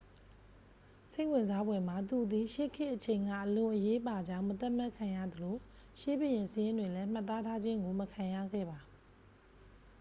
စိတ်ဝင်စားဖွယ်မှာ သူသည် ရှေးခေတ်အချိန်က အလွန်အရေးပါကြောင်း မသတ်မှတ်ခံရသလို ရှေးဘုရင်စာရင်းတွင်လဲ မှတ်သားထားခြင်းကို မခံရခဲ့ပါ